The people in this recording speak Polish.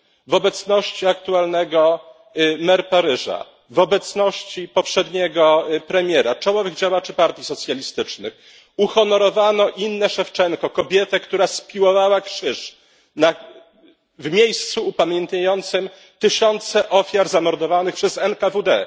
W obecności aktualnej mer Paryża, w obecności poprzedniego premiera, czołowych działaczy partii socjalistycznych uhonorowano Innę Szewczenko, kobietę, która spiłowała krzyż w miejscu upamiętniającym tysiące ofiar zamordowanych przez NKWD.